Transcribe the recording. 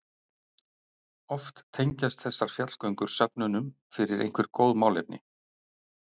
Oft tengjast þessar fjallgöngur söfnunum fyrir einhver góð málefni.